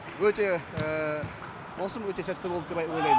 өте маусым өте сәтті болды деп ойлаймын